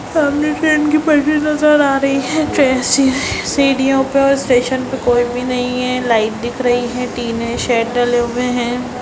सामने ट्रेन की पटरी नजर आ रही है सीढ़ियों पे और स्टेशन पे कोई भी नहीं है लाइट दिख रही है तीन है शेड डले हुए है।